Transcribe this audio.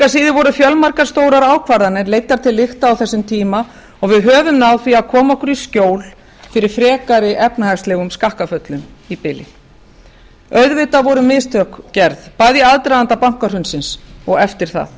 síður voru fjölmargar stórar ákvarðanir leiddar til lykta á þessum tíma og við höfum náð því að koma okkur í skjól fyrir frekari efnahagslegum skakkaföllum í bili auðvitað voru mistök gerð bæði í aðdraganda bankahrunsins og eftir það